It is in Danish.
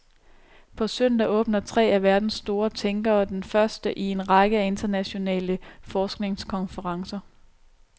På søndag åbner tre af verdens store tænkere den første i en række af internationale forskningskonferencer.